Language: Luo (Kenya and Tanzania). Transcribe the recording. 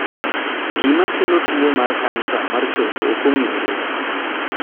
Gima kelo tuwo mar kansa mar chogo ok ong'ere.